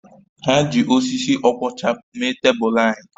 Ha ji osisi ọkwọcha mee tebụl anyị